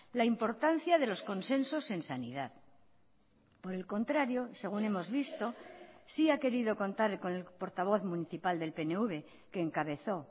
la importancia de los consensos en sanidad por el contrario según hemos visto sí ha querido contar con el portavoz municipal del pnv que encabezó